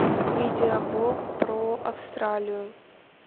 видеоблог про австралию